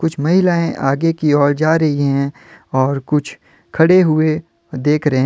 कुछ महिलाएं आगे की ओर जा रही हैं और कुछ खड़े हुए देख रहें--